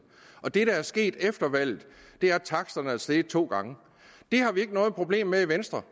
og det der er sket efter valget er at taksterne er steget to gange det har vi ikke noget problem med i venstre